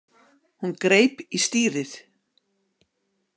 Hún greip í stýrið.